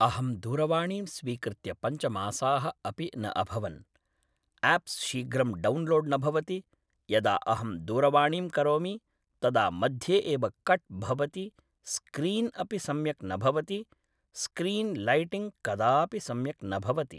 अहं दूरवाणीं स्वीकृत्य पञ्चमासाः अपि न अभवन् आप्स् शीघ्रं डौन्लोड् न भवति यदा अहं दूरवाणीं करोमि तदा मध्ये एव कट् भवति स्क्रीन् अपि सम्यक् न भवति स्क्रीन् लैटिङ्ग् कदापि सम्यक् न भवति